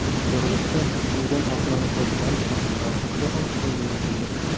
Yig‘ilishda suvdan oqilona foydalanish masalalari haqida ham so‘z yuritildi.